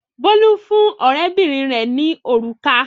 Bólú fún ọ̀rẹ́bìnrin rẹ̀ ní òrùka.